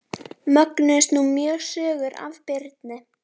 Mögnuðust nú mjög sögur af Birni.